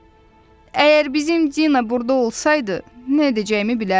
Əgər bizim Dina burda olsaydı, nə edəcəyimi bilərdim.